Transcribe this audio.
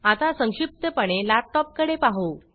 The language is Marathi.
आता संक्षिप्तपणे लॅपटॉप कडे पाहु